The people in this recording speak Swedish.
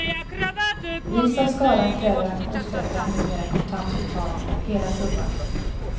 Vis av skadan kräver auktionsförrättaren numera kontant betalning av hela summan.